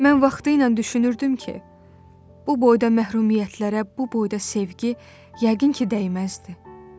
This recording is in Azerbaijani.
Mən vaxtilə düşünürdüm ki, bu boyda məhrumiyyətlərə, bu boyda sevgi yəqin ki, dəyməzdi.